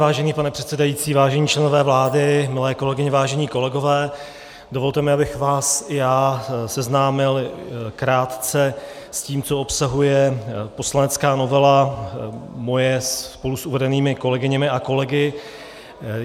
Vážený pane předsedající, vážení členové vlády, milé kolegyně, vážení kolegové, dovolte mi, abych vás i já seznámil krátce s tím, co obsahuje poslanecká novela, moje spolu s uvedenými kolegyněmi a kolegy.